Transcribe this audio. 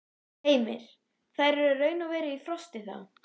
Heimir: Þær eru raun og veru í frosti, þá?